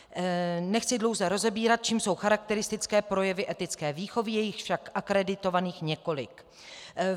Nechci dlouze rozebírat, čím jsou charakteristické projevy etické výchovy, je jich však akreditovaných několik.